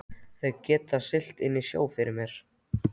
Þeir geta siglt sinn sjó fyrir mér.